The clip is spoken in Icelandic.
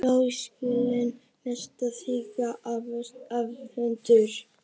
Brasilískir meistarar þykja afburða varðhundar.